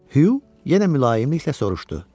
Hü yenə mülayimliklə soruşdu.